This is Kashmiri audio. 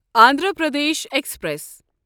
اندھرا پردیش ایکسپریس